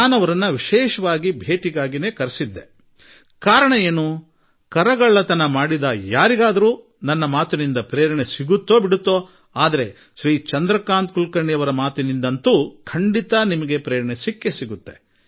ನಾನು ಅವರನ್ನು ವಿಶೇಷವಾಗಿ ಭೇಟಿಯಾಗಲು ಕರೆಸಿಕೊಂಡಿದ್ದೆ ಮತ್ತು ಇದು ಈ ಹಿಂದೆ ತೆರಿಗೆ ವಂಚನೆ ಮಾಡಿರುವವರಿಗೆ ನನ್ನ ಮಾತು ಪ್ರಾಯಶಃ ಸ್ಫೂರ್ತಿ ನೀಡಲಿ ಅಥವಾ ನೀಡದಿರಲಿ ಆದರೆ ಶ್ರೀಮಾನ್ ಚಂದ್ರಕಾಂತ್ ಕುಲಕರ್ಣಿಯವರ ಮಾತಂತೂ ಖಂಡಿತಾ ಸ್ಫೂರ್ತಿ ನೀಡುತ್ತದೆ